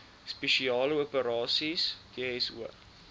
spesiale operasies dso